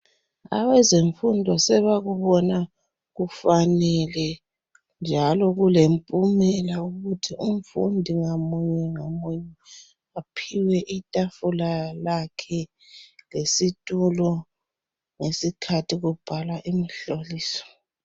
Abezemfundo sebakubona kufanele njalo kulempumela ukuthi umfundi ngamunye ngamunye aphiwe itafula lakhe lesitulo ngesikhathi kubhalwa imihloliso.